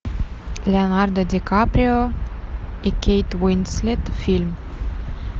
леонардо ди каприо и кейт уинслет фильм